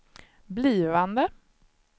blivande